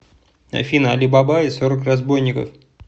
афина али баба и сорок разбойников